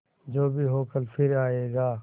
जो भी हो कल फिर आएगा